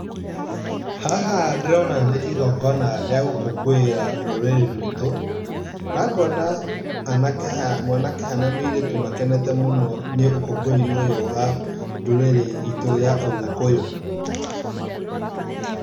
Haha ndĩrona nĩ igingona rĩa gũkũngũĩra rũrĩri ruitũ. Na ngona anake haha, mwanake haha na mũirĩtu makenete mũno nĩ ũkũngũĩri ũyũ wa ndũrĩrĩ itũ ya ũgĩkũyũ.